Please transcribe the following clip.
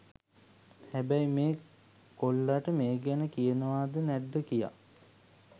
හැබැයි මේ කොල්ලාට මේ ගැන කියනවා ද නැද්ද කියා